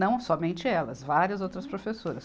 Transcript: Não somente elas, várias outras professoras.